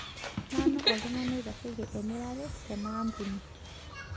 Nanu oltung'ani oitasheki emirare tena ampuni.